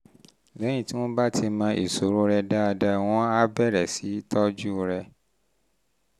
lẹ́yìn tí wọ́n bá ti mọ ìṣòro rẹ dáadáa wọ́n á bẹ̀rẹ̀ sí í tọ́jú rẹ